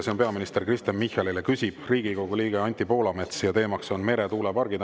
See on peaminister Kristen Michalile, küsib Riigikogu liige Anti Poolamets ja teemaks on meretuulepargid.